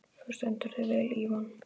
Þú stendur þig vel, Ívan!